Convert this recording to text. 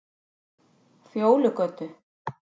Fjólugötu